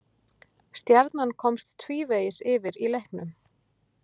Stjarnan komst tvívegis yfir í leiknum